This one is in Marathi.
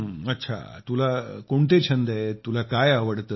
अच्छ तुला कोणते छंद आहेत तुला काय आवडते